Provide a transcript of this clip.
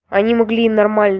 они могли нормально